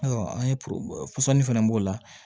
Ayiwa an ye pɔsɔni fana b'o la